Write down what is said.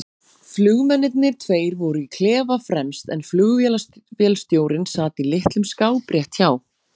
Flugmennirnir tveir voru í klefa fremst en flugvélstjórinn sat í litlum skáp rétt hjá